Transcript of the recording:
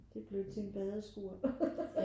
Det blev til et bedre skur